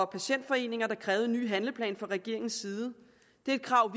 patientforeninger der krævede en ny handleplan fra regeringens side det er et krav